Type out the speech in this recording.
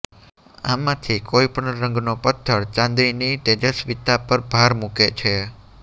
આમાંથી કોઈ પણ રંગનો પથ્થર ચાંદીની તેજસ્વીતા પર ભાર મૂકે છે